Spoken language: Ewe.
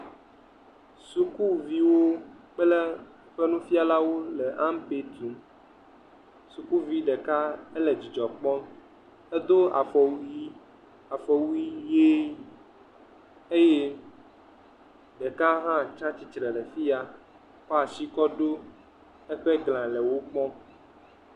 Sukuviwo kple eƒe nufialawo le ampe tum, sukuvi ɖeka ele dzidzɔ kpɔm, edo afɔ wui afɔwui ʋe eye ɖeka hã tsi atsitre le afi ya kɔ asi kɔ ɖo eƒe glã le nu kpɔm